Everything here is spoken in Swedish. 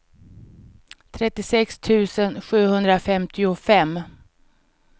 trettiosex tusen sjuhundrafemtiofem